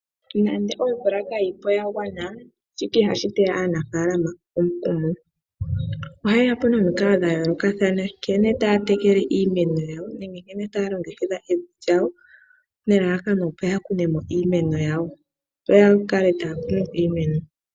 Nande omvula kayi po ya gwana shika ihashi teya aanafaalama omukumo. Ohaye ya po nomikalo dha yoolokathana nkene taya tekele iimeno yawo nenge nkene taya longekidha evi lyawo nelalakano ya kune mo iimeno yawo.